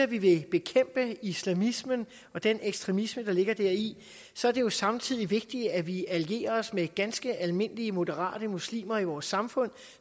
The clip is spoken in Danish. vi vil bekæmpe islamismen og den ekstremisme der ligger deri så er det jo samtidig vigtigt at vi allierer os med ganske almindelige moderate muslimer i vores samfund